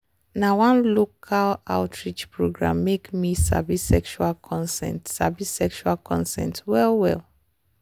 na one local outreach program make me sabi sexual consent sabi sexual consent well well.